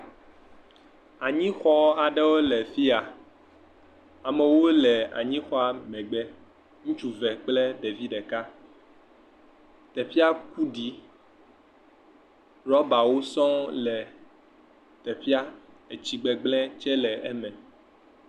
Anyixɔ aɖewo le afia. Amewo le anyixɔa megbe. Ŋutsu eve kple ɖevi ɖeka. Ɖevia ku ɖi. Rɔbawo sɔ̃ɔ le teƒea. Tsi gbegblẽ tsɛ le eme.